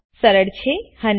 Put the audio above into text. સરળ છે હને